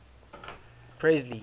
presley